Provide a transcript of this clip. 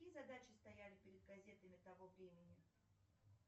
какие задачи стояли перед газетами того времени